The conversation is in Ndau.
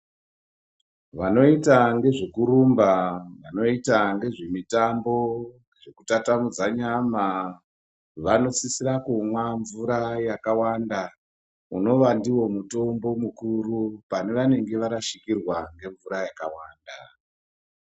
Vanoita ngezvekurumba vanoita ngezvemutambo wekutatamudza nyama vanosisira kumwa mvura yakawanda unova ndiwo mutombo mukuru pavanenge varashikirwa ngemvura yakawanda.